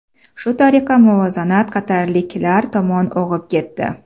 Shu tariqa muvozanat qatarliklar tomon og‘ib ketdi.